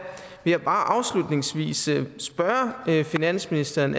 vil bare afslutningsvis spørge finansministeren